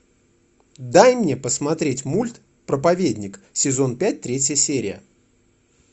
дай мне посмотреть мульт проповедник сезон пять третья серия